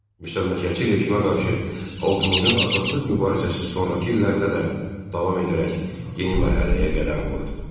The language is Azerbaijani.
Müstəmləkəçi rejimə qarşı xalqımızın azadlıq mübarizəsi sonrakı illərdə də davam edərək yeni mərhələyə qədəm qoydu.